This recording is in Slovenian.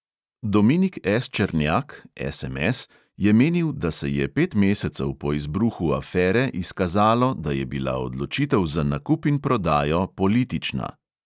Dominik S černjak je menil, da se je pet mesecev po izbruhu afere izkazalo, da je bila odločitev za nakup in prodajo politična.